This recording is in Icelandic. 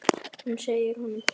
Og hún segir honum það.